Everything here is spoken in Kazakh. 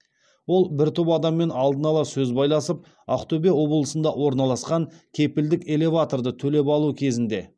ол бір топ адаммен алдын ала сөз байласып ақтөбе облысында орналасқан кепілдік элеваторды төлеп алу кезінде